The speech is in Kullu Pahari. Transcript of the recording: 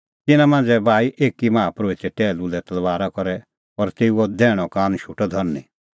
तिन्नां मांझ़ै बाही एकी माहा परोहिते टैहलू लै तलबारा करै और तेऊओ दैहणअ कान शोटअ धरनीं